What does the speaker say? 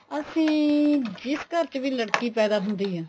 ਅਸੀਂ ਜਿਸ ਘਰ ਚ ਵੀ ਲੜਕੀ ਪੈਦਾ ਹੁੰਦੀ ਆ